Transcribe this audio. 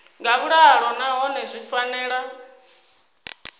nga vhuḓalo nahone zwi fanela